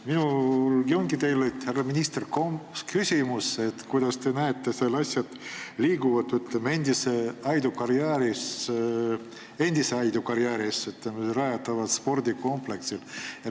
Minul ongi teile, härra minister, küsimus, kuidas te näete, et asjad liiguvad endisesse Aidu karjääri rajatavas spordikompleksis.